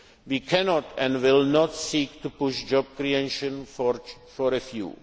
goal. We cannot and will not seek to push job creation for